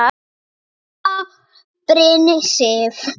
Þín frænka, Birna Sif.